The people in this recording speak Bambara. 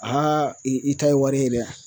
i i ta ye wari ye dɛ!